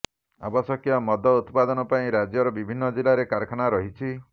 ଆବଶ୍ୟକ ମଦ ଉତ୍ପାଦନ ପାଇଁ ରାଜ୍ୟର ବିଭିନ୍ନ ଜିଲ୍ଲାରେ କାରଖାନା ରହିଛି